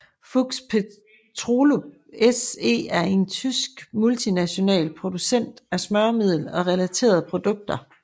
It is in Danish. Fuchs Petrolub SE er en tysk multinational producent af smøremiddel og relaterede produkter